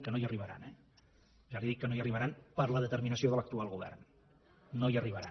que no hi arribaran eh ja li dic que no hi arribaran per la determinació de l’actual govern no hi arribaran